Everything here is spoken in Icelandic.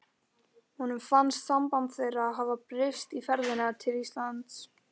Honum fannst samband þeirra hafa breyst í ferðinni til Íslands.